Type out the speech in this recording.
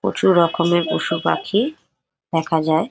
প্রচুর রকমের পশুপাখি দেখা যায় ।